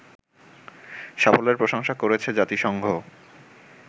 সাফল্যের প্রশংসা করেছে জাতিসংঘ